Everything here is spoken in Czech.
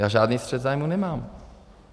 Já žádný střet zájmů nemám!